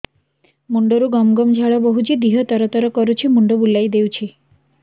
ମୁଣ୍ଡରୁ ଗମ ଗମ ଝାଳ ବହୁଛି ଦିହ ତର ତର କରୁଛି ମୁଣ୍ଡ ବୁଲାଇ ଦେଉଛି